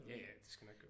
Ja ja det skal nok gå